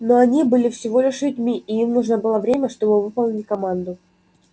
но они были всего лишь людьми и им нужно было время чтобы выполнить команду